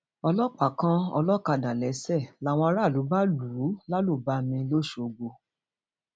ọlọpàá kan olókàdá léṣe làwọn aráàlú bá lù ú lálùbami lọsgbọ